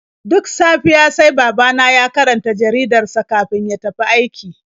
Duk safiya sai babana ya karanta jaridar sa kafin ya tafi aiki.